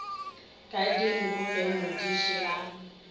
ka dinku ge modiši a